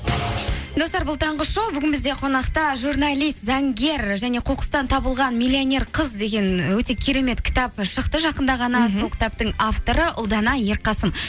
достар бұл таңғы шоу бүгін бізде қонақта журналист заңгер және қоқыстан табылған миллионер қыз деген өте керемет кітап шықты жақында ғана сол кітаптың авторы ұлдана ерқасым